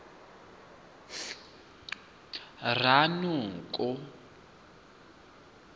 ranoko